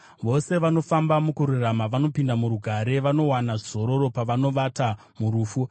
Vose vanofamba mukururama vanopinda murugare, vanowana zororo pavanovata murufu.